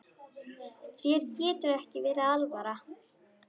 Þér getur ekki verið alvara.